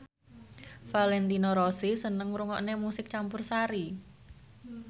Valentino Rossi seneng ngrungokne musik campursari